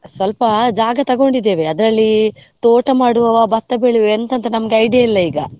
ಸ್ವಲ್ಪ ಜಾಗ ತಗೊಂಡಿದ್ದೇವೆ, ಅದರಲ್ಲಿ ತೋಟ ಮಾಡುವವ, ಭತ್ತ ಬೆಳೆಯುವ ಎಂಥ ಅಂತ ನಮ್ಗೆ idea ಇಲ್ಲ ಈಗ.